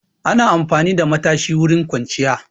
Ana amfani da matashi wurin kwanciya.